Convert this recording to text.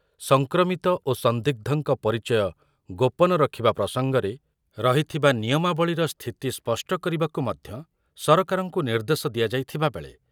ସଂକ୍ରମିତ ଓ ସନ୍ଦିଗ୍ଧଙ୍କ ପରିଚୟ ଗୋପନ ରଖିବା ପ୍ରସଙ୍ଗରେ ରହିଥିବା ନିୟମାବଳୀର ସ୍ଥିତି ସ୍ପଷ୍ଟ କରିବାକୁ ମଧ୍ୟ ସରକାରଙ୍କୁ ନିର୍ଦ୍ଦେଶ ଦିଆଯାଇଥିବା ବେଳେ